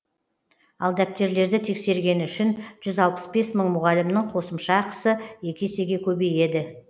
ал дәптерлерді тексергені үшін жүз алпыс бес мың мұғалімнің қосымша ақысы екі есеге көбейеді